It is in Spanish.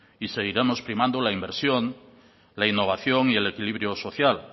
y seguiremos primando la inversión la innovación y el equilibrio social